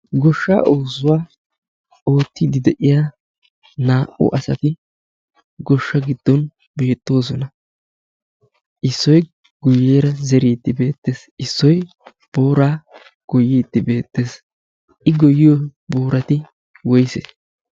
goshsha oozzuwaa oottiiddi de'iya naa'u asati goshsha giddon beettoosona. issoy guyyeera zeriidti beettees. issoi boraa goyiidti beettees. i goyiyo boorati woysee?